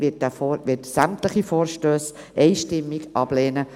Die BDP wird sämtliche Vorstösse einstimmig ablehnen.